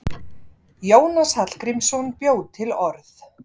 Jónas Hallgrímsson bjó til orð.